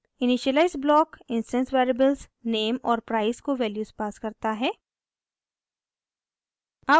initialiser block instance variables @name और @price को values pass करता है